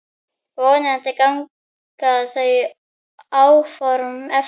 Vonandi ganga þau áform eftir.